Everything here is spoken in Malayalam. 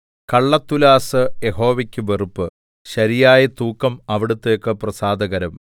കള്ളത്തുലാസ്സ് യഹോവയ്ക്ക് വെറുപ്പ് ശരിയായ തൂക്കം അവിടുത്തേക്ക് പ്രസാദകരം